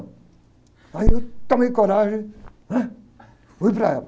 Aí eu tomei coragem, ãh, fui para ela.